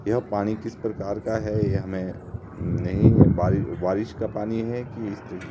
यह पानी किस प्रकार का है यह हमे नही है बारि बारिश का पानी है कि--